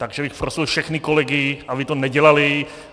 Takže bych prosil všechny kolegy, aby to nedělali.